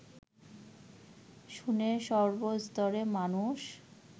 শুনে সর্বস্তরের মানুষ